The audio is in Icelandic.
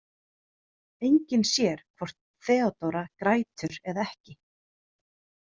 Enginn sér hvort Theodóra grætur eða ekki.